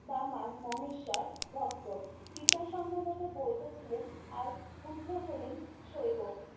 বামা মহেশ্বর ভক্ত পিতা সম্ভবত বৈধ ছিলেন আর পুত্র হলেন সইবো